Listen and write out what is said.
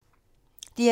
DR2